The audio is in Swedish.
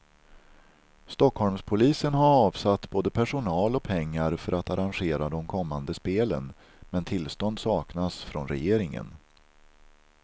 Stockholmspolisen har avsatt både personal och pengar för att arrangera de kommande spelen, men tillstånd saknas från regeringen.